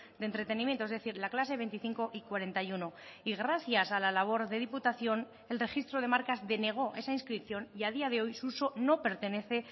de entretenimiento es decir la clase veinticinco y cuarenta y uno y gracias a la labor de diputación el registro de marcas denegó esa inscripción y a día de hoy su uso no pertenece